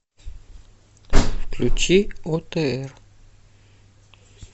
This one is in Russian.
включи отр